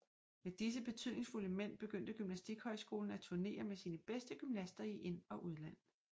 Med disse betydningsfulde mænd begyndte gymnastikhøjskolen at turnere med sine bedste gymnaster i ind og udland